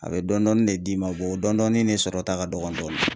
A bɛ dɔɔnin dɔɔnin ne d'i ma o dɔɔnin dɔɔni de sɔrɔta ka dɔgɔn dɔɔni.